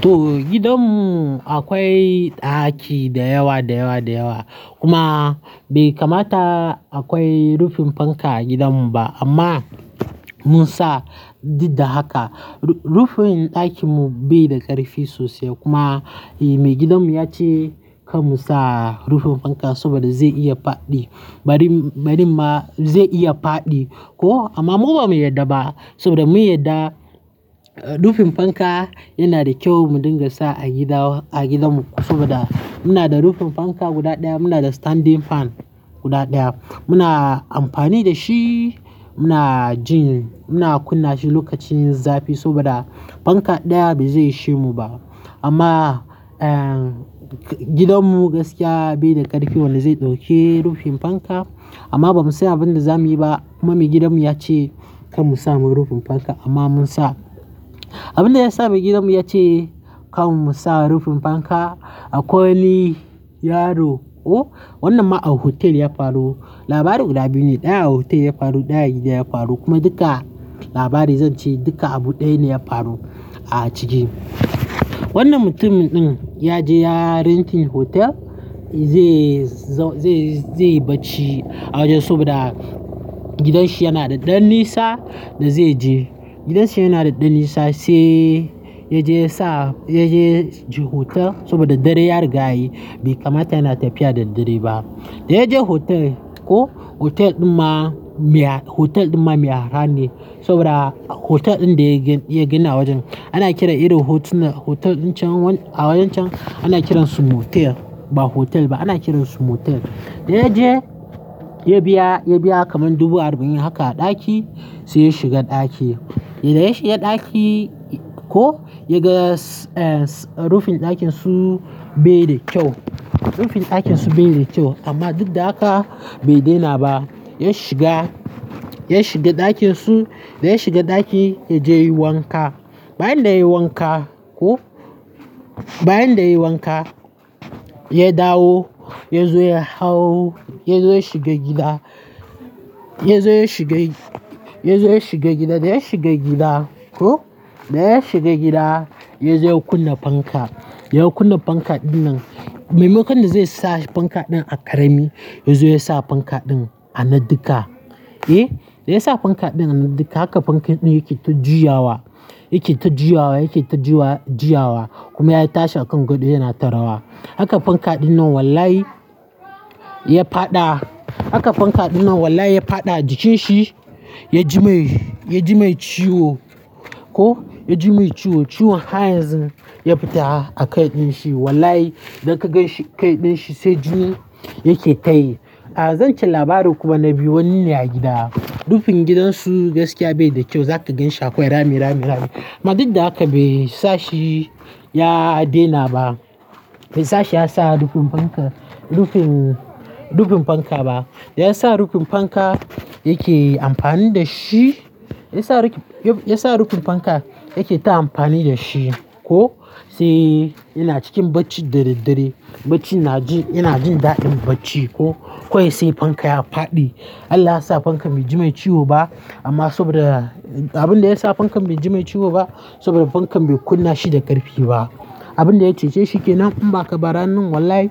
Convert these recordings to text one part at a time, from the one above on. To gidanmu akwai ɗaki da yawa da yawa da yawa kuma bai kamata akwai rufin fanka a gidanmu ba. Amma mun sa duk da haka. Rufin ɗakinmu bai da ƙarfi sosai kuma mai gidanmu ya ce kar mu sa rufin fanka saboda zai iya faɗi. Bari, bari ma zai iya faɗi ko amma mu ba mu yarda ba saboda mun yarda rufin fanka yana da kyau mu dinga sa a gida a gidanmu saboda muna da rufin fanka guda ɗaya. Muna da standing fan guda ɗaya muna amfani da shi, muna jin, muna kunna shi lokacin zafi saboda fanka ɗaya ba zai ishe mu ba. Amma, eh gidanmu gaskiya bai da ƙarfi wanda zai dauke rufin fanka. Amma bamu san abinda za muyi ba, kuma mai gidan mu yace kada musa rufin fanka kuma munsa. Abin da ya sa mai gidanmu ya ce kar mu sa rufin fanka akwai wani yaro ko wannan ma a hotel ya faru. Labarai guda biyu ne, ɗaya a hotel ya faru, ɗaya a gida ya faru kuma duka labari zan ce duka abu ɗaya ne ya faru a ciki. Wannan mutumi din yaje yayi renting hotel ze zau ze yi bacci a wajsn sabida gidanshi yana da ɗan nisa da zai je. Gidanshi yana da ɗan nisa sai ya je ya sa, ya je hotel saboda dare ya riga yi bai kamata yana tafiya daddare ba. Da ya je hotel ko hotel ɗin ma miya, hotel ɗin ma miya har ne saboda hotel ɗin da ya gina a wajen ana kiran irin hotel ɗin a wajen can ana kiransu motel ba hotel ba ana kiransu motel. Da ya je ya biya, ya biya kaman dubu arba'in haka a ɗaki sai ya shiga ɗaki. Da ya shiga ɗaki ko ya ga, eh rufin ɗakin su bai da kyau. Rufin ɗakin su bai da kyau amma duk da haka bai daina ba. Ya shiga, ya shiga ɗakin su, da ya shiga ɗaki ya je wanka. Bayan da ya yi wanka ko bayan da ya yi wanka ya dawo ya zo ya hau ya zo ya shiga gida, ya zo ya shiga, ya zo ya shiga gida. Da ya shiga gida ko da ya shiga gida ya zo ya kunna fanka. Ya kunna fanka ɗin nan. Mai makaɗi zai sa fanka ɗin a ƙarami ya zo ya sa fanka ɗin a naduka, eh? Da ya sa fanka ɗin a naduka haka fanka ɗin yake ta juyawa, yake ta juyawa, yake ta juyawa juyawa kuma ya tashi a kan gado yana ta rawa. Haka fanka ɗin nan wallahi ya faɗa. Haka fanka ɗin nan wallahi ya faɗa jikin shi ya ji mai, ya ji mai ciwo ko ya ji mai ciwo. Ciwon har yanzu ya fita a kai ɗin shi. Wallahi idan ka gan shi kai ɗin shi sai jini yake ta yi. A zan ce labari kuma na biyu. Wanni ne a gida. Rufin gidansu gaskiya bai da kyau. Zaka gan shi akwai rami, rami, rami amma duk da haka bai sa shi ya daina ba. Bai sa shi ya sa rufin fanka, rufin, rufin fanka ba. Da ya sa rufin fanka yake amfani da shi. Ya sa rufin, ya sa rufin fanka yake ta amfani da shi ko sai yana cikin bacci dadaddare. Baccin naji, yana jin da'in bacci ko. Ko ya sai fanka ya faɗi. Allah ya sa fankan bai ji mai ciwo ba amma saboda abin da ya sa fankan bai ji mai ciwo ba saboda fankan bai kunna shi da ƙarfi ba. Abin da ya cece shi kenan amma kabara nan wallahi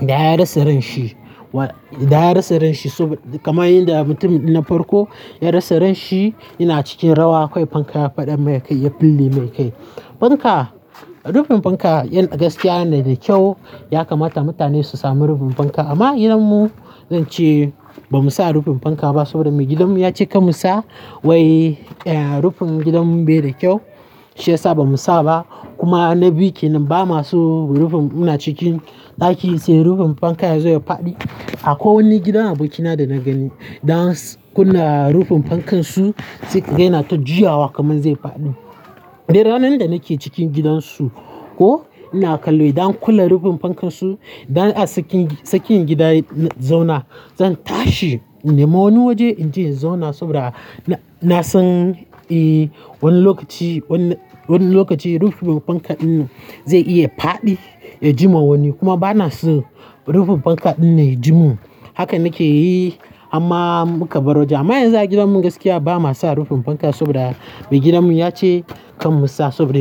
da ya rasa ran shi. Da ya rasa ran shi kamar yanda mutumin na farko ya rasa ran shi yana cikin rawa akwai fanka ya faɗi mai kai ya fille mai kai. Fanka, rufin fanka yana gaskiya yana da kyau, ya kamata mutane su sami rufin fanka amma gidanmu zan ce ba mu sa rufin fanka ba saboda mai gidanmu ya ce kar mu sa wai, eh rufin gidanmu bai da kyau shiyasa ba mu sa ba kuma na bi ki nan ba ma su rufin muna cikin ɗaki sai rufin fanka ya zo ya faɗi. Akwai wani gidan abokina dana gani dan kunna rufin fankan su sai kai yana ta juyawa kamar zai faɗi. Dai ranar da nake cikin gidan su ko ina kallo idan kula rufin fankan su da a tsakin, tsakin gida zauna zan tashi ina ma wani waje in je in zauna saboda na san eh wani lokaci, wani lokaci rufin fanka ɗin zai iya faɗi ya jima wani kuma ba na san rufin fanka ɗin ya ji mun. Haka nake yi hamma muka barwajan. Amma yanzu a gidammu gaskiya ba ma sa rufin fanka saboda mai gidanmu ya ce kar mu sa sabode.